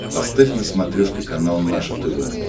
поставь на смотрешке канал наше тв